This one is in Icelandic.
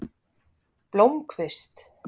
Blómkvist